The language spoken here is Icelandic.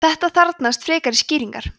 þetta þarfnast frekari skýringar